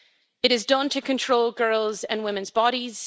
It is done to control girls' and women's bodies.